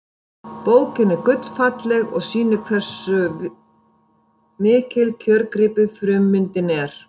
Bókin er gullfalleg og sýnir vel hversu mikill kjörgripur frummyndin er.